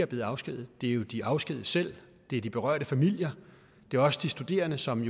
blevet afskediget det er de afskedigede selv det er de berørte familier og det er også de studerende som